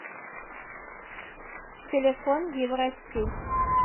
телефон евростиль